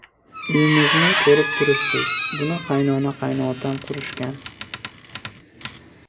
Uyimizni ko‘rib turibsiz, buni qaynona-qaynotam qurishgan.